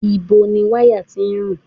Ìbo ni wáyà tí ń rùn?